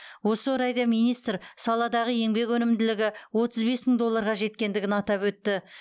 осы орайда министр саладағы еңбек өнімділігі отыз бес мың долларға жеткенін атап өтті